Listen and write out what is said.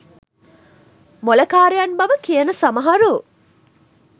මොළකාරයන් බව කියන සමහරු